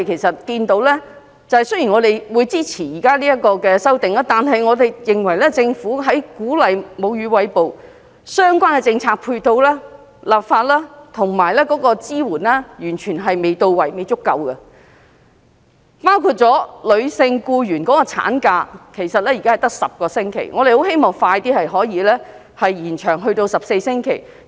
雖然我們支持現時的修訂，但我們認為政府鼓勵餵哺母乳的相關政策配套、立法及支援完全未到位，也未足夠，包括女性僱員的產假現時只有10星期，我們希望可以盡快延長至14星期。